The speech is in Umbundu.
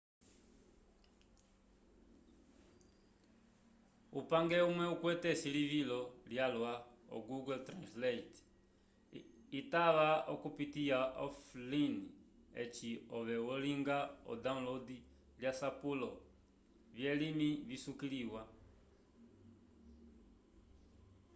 upage umwe ukwete esilivilo lyalwa o google translate itava okupitiya offline eci ove olinga o download lyasapulo vyelimi visukiliwa